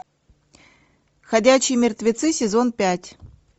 ходячие мертвецы сезон пять